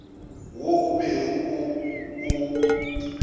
wo o bego o o